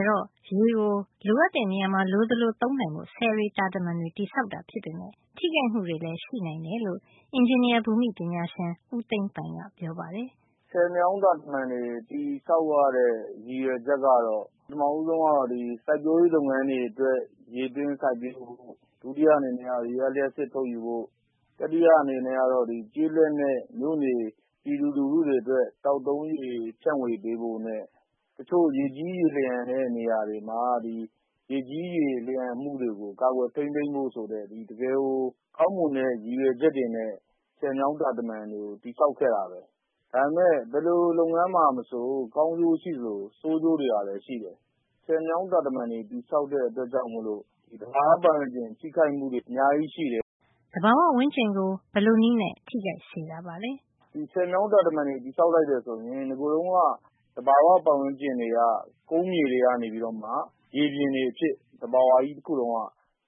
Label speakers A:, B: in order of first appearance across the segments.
A: ယ်တော့ ရေကို လိုအပ်တဲ့ နေရာမှာ လိုသလို အသုံးချနိုင်ဖို့ ဆည်တွေ တာတမံတွေ တည်ဆောက်တာ ဖြစ်ပေမယ့် ထိခိုက်မှုတွေလည်း ရှိနိုင်တယ်လို့ အင်ဂျင်နီယာ ဘူမိပညာရှင် ဦးသိန်းပိုင်က ပြောပါတယ်
B: ။ “ဆည်မြောင်း တာတမံတွေ တည်ဆောက်ရတဲ့ ရည်ရွယ်ချက်က ပထမဆုံးကတော့ စိုက်ပျိုးရေး လုပ်ငန်းတွေ အတွက် ရေသွင်း စိုက်ပျိုးဖို့ပေါ့။ ဒုတိယအနေနဲ့က ရေအားလျှပ်စစ် ထုတ်ယူဖို့၊ တတိယ အနေနဲ့ကတော့ ကျေးလက်နဲ့ မြို့နေ ပြည်သူလူထု တွေအတွက် သောက်သုံးရေ ဖြန့်ဝေပေးဖို့နဲ့ တချို့ ရေကြီး ရေလျှံတဲ့ နေရာတွေမှာ ရေကြီးရေလျှံမှုတွေကို ကာကွယ် ထိမ်းသိမ်းဖို့ ဆိုတဲ့ တကယ်ကို ကောင်းမွန်တဲ့ ရည်ရွယ်ချက်တွေနဲ့ ဆည်မြောင်းတာတမံတွေကို တည်ဆောက်ခဲ့တာပဲ။ ဒါပေမယ့် ဘယ်လို လုပ်ငန်းမှာ မဆို ကောင်းကျိုးရှိသလို ဆိုးကျိုးတွေကလည်း ရှိတယ်။ ဆည်မြောင်း တာတမံ တွေ တည်ဆောက်တဲ့ အတွက်ကြောင့် သဘာဝပတ်ဝန်းကျင်ကို ထိခိုက်စေတာတွေ အများကြီး ရ
A: ှိတယ်။” သဘာဝ ပတ်ဝန်းကျင် ကို ဘယ်လိုနည်းနဲ့ ထိခိုက်စေတာပါလဲ။
B: “ဆည်မြောင်း တာတမံတွေ တည်ဆောက်လိုက်တဲ့ အတွက်ကြောင့် သဘာဝ ပတ်ဝန်းကျင်မှာ ကုန်းမြေတွေက ရေပြင်ကျယ်ကြီးအဖြစ် သဘာဝကြီး တခုလုံး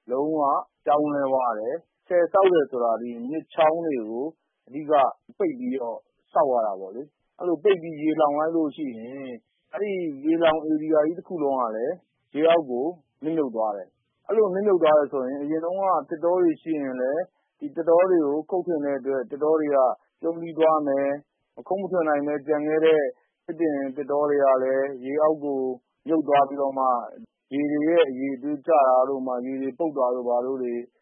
B: က လုံးဝ ပြောင်းလဲသွားတယ်။ ဆည်ဆောက်တယ် ဆိုတာ မြစ်ချောင်းတွေကို အဓိက ပိတ်ပြီး တည်ဆောက်ရတာကိုး။ အဲဒီလို ပိတ်ပြီးရေလှောင် လိုက်ရင် အဲဒီ ရေလှောင်ဧရိယာကြီး တခုလုံး ကလည်း မြေအောက်ကို နစ်မြုပ် သွားတယ်။ အဲဒီလို နစ်မြုပ်သွားတယ် ဆိုရင် အရင်တုန်းက သစ်တောတွေ ရှိတယ်ဆိုရင် သစ်တော တွေကို ခုတ်ပစ်တဲ့အတွက် သစ်တောတွေ ပြုန်းတီးသွားမယ်။ မခုတ်ထွင်နိုင်ပဲ ကျန်ခဲ့တဲ့ သစ်တောတွေ ကလည်း ရေအောက်ကို မြုပ်သွားပြီးတော့မှ ရေတွေရဲ့ အရည်အသွေးကျပြီးတော့ ဥပမာ ရေတွေ ပုပ်တာတို့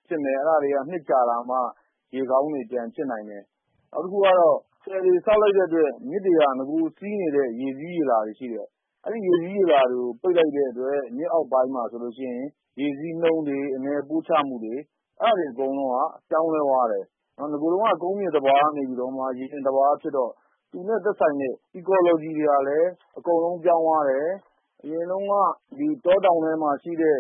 B: ဖြစ်မယ်။ အဲဒါတွေက နှစ်ကြာတော့မှ ရေကောင်းပြန်ဖြစ်နိုင်တယ်။ နောက်တခုကတော့ ဆည်တွေ ဆောက်လိုက်တဲ့အတွက် မြစ်တွေမှာ နဂိုစီးနေတဲ့ ရေစီးရေလာ တွေရှီတယ်။ အဲဒီရေစီးရေလာ တွေကို ပိတ်လိုက်တဲ့အတွက် မြစ်အောက်ပိုင်းမှာ ဆိုရင် ရေစီးနှုန်းတို့ အမြန်ပို့ချနှုန်းတို့က ပြောင်းလဲသွားတယ်။ နဂိုတုန်းက ကုန်းမြေ သဘာဝကနေ ရေပြင် သဘာဝ ဖြစ်တော့ သူနဲ့ သက်ဆိုင်တဲ့ ecology ဂေဟစံနစ် ကလည်း အကုန်ပြောင်းလဲ သွားတယ်။ အရင်တုန်းက တောတောင်ထဲမှာ ရှိတဲ့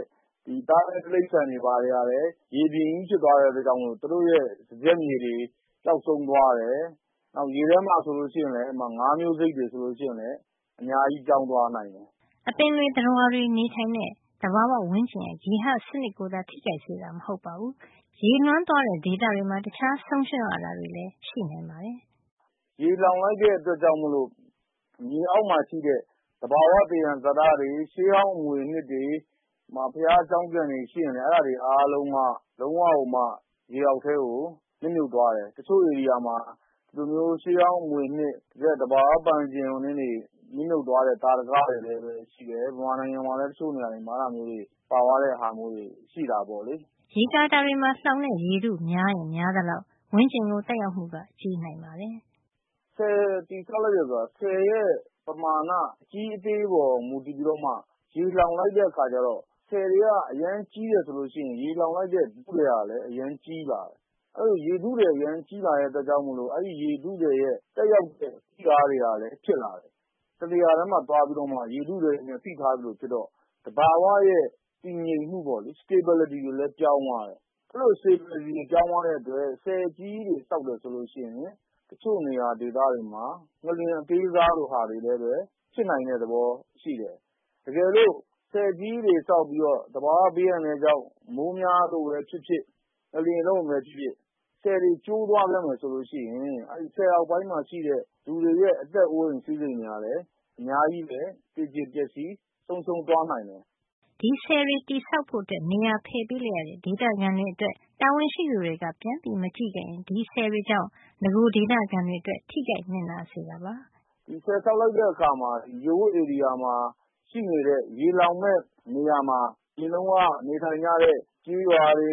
B: သားရဲ တိရိစ္ဆာန်တွေကလည်း ရေပြင်ကြီး ဖြစ်သွားတဲ့ အတွက်ကြောင့် သူတို့ရဲ့ စားကျက်မြေတွေ ပျောက်ဆုံးသွားတယ်။ နောက် ရေထဲမှာ ဆိုရင်လည်း ငါးမျိုးစိတ်တွေ ဆိုလို့ရှိရင်လည်း အများကြီး ပြောင်းသွားနိုင်တယ်
A: ။” အပင်တွေ သတ္တဝါတွေ နေထိုင်တဲ့ သဘာဝ ဝန်းကျင်ရဲ့ ဂေဟ စံနစ်ကိုသာ ထိခိုက်စေတာ မဟုတ်ပါဘူး ရေလွှမ်းသွားတဲ့ ဒေသတွေမှာ တခြားဆုံးရှုံးရတာတွေလည်း ရှိနိုင်ပါတယ်
B: ။ “ရေလှောင်လိုက်တဲ့ အတွက်ကြောင့် ရေအောက်မှာ ရှိတဲ့ သဘာဝ သယံဇာတတွေ၊ ရှေးဟောင်း အမွေအနှစ်တွေ၊ ဘုရားကျောင်းကန်တွေ ရှိရင်လည်း အဲဒါတွေ အားလုံးဟာ လုံးဝ ရေအောက်ကို နစ်မြုပ်သွားတယ်။ တချို့ ဧရိယာမှာ ဒီလို ရှေးဟောင်း အမွေအနှစ် ရှိတဲ့ သဘာဝ ဝန်းကျင်တွေ နစ်မြုပ် သွားတဲ့ သာဓကတွေလည်း ရှိတယ်။ မြန်မာနိုင်ငံမှာလည်း တချို့နေရာတွေမှာ အဲဒီလိုမျိုး ပါသွားတဲ့ ဟာတွေ ရှိခဲ့တယ်။
A: ” ရေကာတာတွေမှာ လှောင်တဲ့ ရေထု များရင် များသလောက် ဝန်းကျင်ကို သက်ရောက်မှုက ကြီးနိုင်ပါတယ်
B: ။ “ဆည် တည်ဆောက်လိုက်တယ် ဆိုတာ ဆည်ရဲ့ ပမာဏ အကြီးအသေးပေါ် မူတည်ပြီးတော့မှ ရေလှောင်လိုက်တဲ့ အခါ ဆည်တွေက အရမ်းကြီးတယ် ဆိုရင် ရေလှောင်လိုက်တဲ့ ထုထည်ကလည်း အရမ်းကြီးလာတယ်။ အဲဒီလို ရေထုထည် အရမ်းကြီးလာတဲ့ အတွက်ကြောင့် အဲဒီရေထုထည်ရဲ့ သက်ရောက်တဲ့ ဖိအားတွေကလည်း ဖြစ်လာတယ်။ တနေရာထဲမှာ သွားပြီး ရေထုထည် နဲ့ ဖိထား သလို ဖြစ်တော့ သဘာဝရဲ့ တည်ငြိမ်မှု stability တွေလည်း ပြောင်း သွားတယ်။ အဲဒီလို stability တွေ ပြောင်း သွားတဲ့ အတွက် ဆည် အကြီးကြီးတွေ ဆောက်တယ် ဆိုရင် တချို့နေရာ ဒေသတွေမှာ ငလျင် အသေးစားလေးတွေ ဖြစ်နိုင်တဲ့ သဘောရှိတယ်။ တကယ်လို့ ဆည်ကြီးတွေ ဆောက်ပြီးတော့ သဘာဝ ဘေးအန္တရာယ်ကြောင့် မိုးများ လို့ပဲ ဖြစ်ဖြစ် ငလျင်လှုပ်ရင်ပဲ ဖြစ်ဖြစ် ဆည်တွေ ကျိုးသွားခဲ့မယ် ဆိုလို့ ရှိရင် အဲဒီ ဆည်အောက်ပိုင်းမှာ ရှိတဲ့ လူတွေရဲ့ အသက်အိုးအိမ် စည်းစိမ်တွေဟာ လည်း အများကြီး သေကြေပျက်စီး ဆုံးရှုံး သွားနိုင်
A: တယ်။” ဒီဆည်တွေ ဆောက်ဖို့အတွက် နေရာ ဖယ်ပေးလိုက်ရတဲ့ ဒေသခံတွေ အတွက် တာဝန်ရှိသူတွေက ပြန်မကြည့်ခဲ့ရင် ဒီဆည်တွေကြောင့် နဂိုဒေသခံတွေ အတွက် ထိခိုက်နစ်နာစေတာပါ။
B: “ဒီဆည် ဆောက်လိုက်တဲ့ အခါမှာ ရေဝပ်ဧရိယာမှာ ရှိနေတဲ့ ရေလှောင်မယ့် နေရာမှာ အရင်တုန်းက နေထိုင်ကြတဲ့ လူတွေ၊ ကျေးရွာတွေ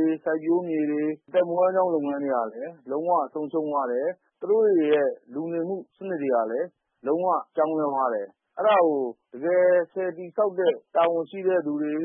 B: ၊ စိုက်ပျိုးမြေတွေ၊ အသက်မွေးဝမ်းကျောင်း လုပ်ငန်းတွေ ကလည်း လုံးဝ ဆုံးရှုံးသွားတယ်။ သူတို့တွေရဲ့ လူနေမှု စံနစ်တွေကလည်း လုံးဝ ပြောင်းလဲသွားတယ်။ အဲဒါကို တကယ် ဆည်တည်ဆောက်တဲ့ တာဝန်ရှိတဲ့ သူတွေ၊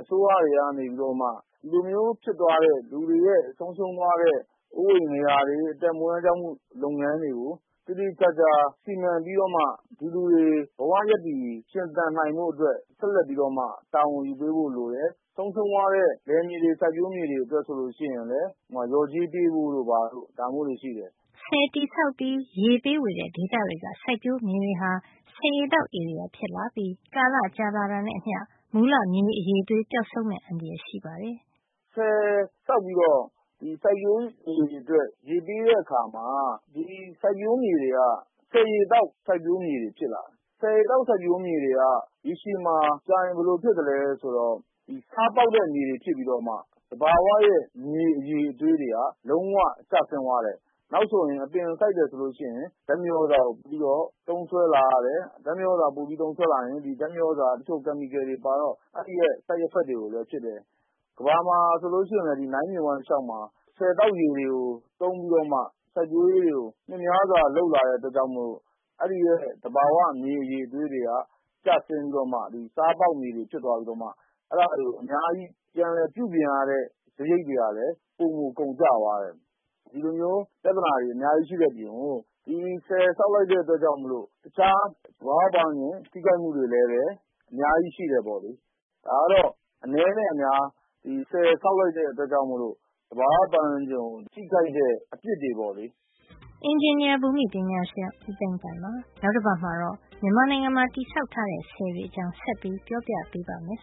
B: အစိုးရတွေက နေပြီးတော့မှ ဒီလိုမျိုး ဖြစ်သွားတဲ့ လူတွေရဲ့ ဆုံးရှုံးသွားတဲ့ အိုးအိမ်နေရာတွေ၊ အသက်မွေးဝမ်းကျောင်းမှု လုပ်ငန်းတွေကို သေသေချာချာ စီမံပြီးတော့မှ ဒီလူတွေ ဘဝရပ်တည်ရှင်သန် နိုင်ဖို့အတွက် ဆက်ပြီးတော့မှ တာဝန်ယူပေးဖို့ လိုတယ်။ ဆုံးရှုံးသွားတဲ့ လယ်မြေတွေ၊ စိုက်ပျိုးမြေတွေ အတွက် ဆိုရင်လည်း လျော်ကြေး ပေးဖို့ လိုပါတယ်။”
A: ဆည်တည်ဆောက်ပြီး ရေပေးဝေတဲ့ ဒေသတွေက စိုက်ပျိုးမြေတွေဟာ ဆည်ရေသောက် ဧရိယာဖြစ်လာပြီး ကာလ ကြာလာတာနဲ့ အမျှ မူလ မြေအရည်အသွေး ပျောက်ဆုံး သွားမယ့် အန္တရာယ် ရှိပါတယ်
B: ။ “ဆည်ဆောက်ပြီးတော့ စိုက်ပျိုးမြေတွေ အတွက် ရေပေးဝေတဲ့ အခါမှာ ဒီစိုက်ပျိုးမြေတွေက ဆည်ရေသောက် စိုက်ပျိုးမြေတွေ ဖြစ်လာတယ်။ ဆည်ရေသောက် စိုက်ပျိုးမြေတွေက ရေရှည်မှာ ကြာရင် ဘယ်လို ဖြစ်လာသလဲ ဆိုတော့၊ ဒီ ဆားပေါက်တဲ့ မြေတွေ ဖြစ်ပြီးတော့မှ သဘာဝရဲ့ မြေ အရည်အသွေးတွေက လုံးဝ ကျဆင်းသွားတယ်။ နောက်ဆိုရင် အပင်စိုက်တယ် ဆိုရင် ဓါတ်မြေသြဇာကို ပိုပြီးတော့ သုံးစွဲလာရတယ်။ အဲဒီလို သုံးစွဲလာရရင် ဓါတ်မြေသြဇာက chemical တွေ ပါတော့ အဲဒီရဲ့ ဘေးထွက် ဆိုးကျိုးတွေလည်း ဖြစ်တယ်။ ကမ္ဘာမှာ ကြည့်ရင် နိုင်းမြစ် Nile တလျှောက်မှာ ဆည်သောက်ရေတွေ သုံးပြီး စိုက်ပျိုးရေးတွေ နှစ်များစွာ လုပ်လာတဲ့ အတွက်ကြောင့် အဲဒီရဲ့ သဘာဝ မြေအရည်အသွေး တွေက ကျဆင်းသွားပြီး၊ ဆားပေါက်မြေတွေ ဖြစ်လာပြီး အဲဒါတွေ အများကြီး ပြန်လည်ပြုပြင်ရတဲ့ စားရိတ်တွေက ပိုမိုကုန်ကျခဲ့တယ်။ ဒီလိုပြဿနာတွေ အများကြီး ရှိတဲ့ အပြင်ကို ဒီဆည်ဆောက်လိုက်တဲ့ အတွက်ကြောင့် တခြား သဘာဝ ပတ်ဝန်းကျင် ထိခိုက်မှုတွေလည်း အများကြီး ရှိတယ်ပေါ့လေ။ ဒါကတော့ အနဲနဲ့ အများ ဆည်ဆောက်လိုက်တဲ့ အတွက်ကြောင့် သဘာဝပတ်ဝန်းကျင်ကို ထိခိုက်တဲ့ အပစ်တွေ ပေါ့လေ
A: ။ အင်ဂျင်နီယာ ဘူမိ ပညာရှင် ဦးသိန်းပိုင်ပါ။ နောက်တပတ်မှာတော့ မြန်မာနိုင်ငံမှာ တည်ဆောက်ထားတဲ့ ဆည်တွေအကြောင်း ဆက်ပြောပြပေးပါ့မယ်။